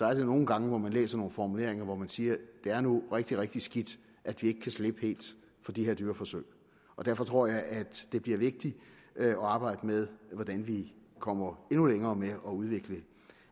er der nogle gange hvor man læser nogle formuleringer hvor man siger det er nu rigtigt rigtig skidt at vi ikke kan slippe helt for de her dyreforsøg derfor tror jeg at det bliver vigtigt at arbejde med hvordan vi kommer endnu længere med at udvikle